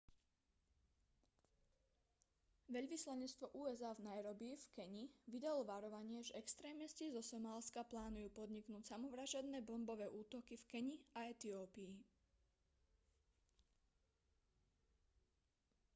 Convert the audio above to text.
veľvyslanectvo usa v nairobi v keni vydalo varovanie že extrémisti zo somálska plánujú podniknúť samovražedné bombové útoky v keni a etiópii